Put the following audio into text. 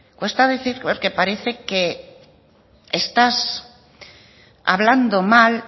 cuesta decir porque parece que estás hablando mal